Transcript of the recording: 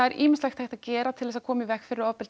ýmislegt hægt að gera til að koma í veg fyrir ofbeldi